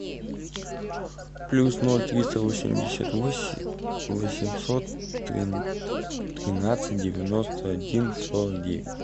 плюс ноль триста восемьдесят восемь восемьсот тринадцать девяносто один сорок девять